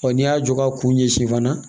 n'i y'a jɔ ka kun ɲɛsin fana